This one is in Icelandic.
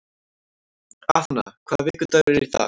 Athena, hvaða vikudagur er í dag?